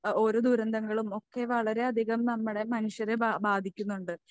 ഓ ഓരോ ദുരന്തങ്ങളും ഒക്കെ വളരെയധികം നമ്മളെ മനുഷ്യരെ ബാ ബാധിക്കുന്നുണ്ട്.